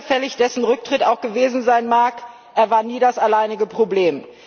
Doch so überfällig dessen Rücktritt auch gewesen sein mag, er war nie das alleinige Problem.